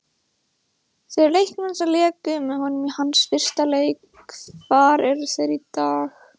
Þeir leikmenn sem léku með honum í hans fyrsta leik, hvar eru þeir í dag?